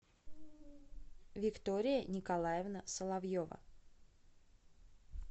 виктория николаевна соловьева